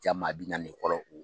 Jaa maa bi naani ne kɔlɔko.